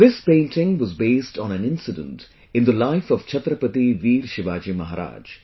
This painting was based on an incident in the life of Chhatrapati Veer Shivaji Maharaj